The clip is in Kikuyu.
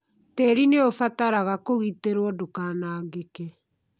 Tĩĩri nĩ ũbataraga kũgitĩrũo ndũkanangĩke.